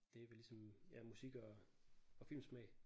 Det er vel ligesom ja musik og og filmsmag